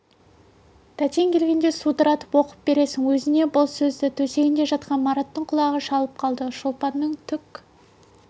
тәтең келгенде судыратып оқып бересің өзіне бұл сөзді төсегінде жатқан мараттың құлағы шалып қалды шолпанның түк